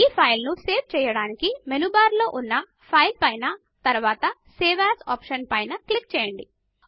ఈ ఫైల్ ను సేవ్ చేయడానికి మెనూ బార్ లో ఉన్న ఫైల్ పైన తరువాత సేవ్ ఏఎస్ ఆప్షన్ పైన క్లిక్ చేయండి